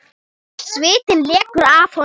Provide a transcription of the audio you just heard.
Svitinn lekur af honum.